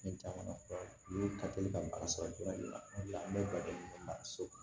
Ne caman ka teli ka baara sɔrɔ joona de la o de la n bɛ baro di ma so kan